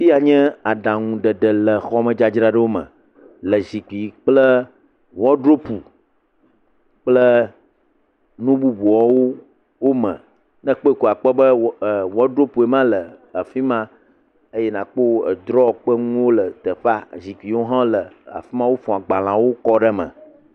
Afia nya aɖaŋuɖeɖe le xɔmedzradzraɖo me le zikpui kple wɔdrobe kple nu bubuwo me. Ne ekpɔe ko nàkpɔ be wɔdrobe ema le afi ma eye nàkpɔ edrɔ ƒe nuwo le teƒea. Zikpuiwo hã le afi ma wofɔ agbalẽwo kɔ ɖe me.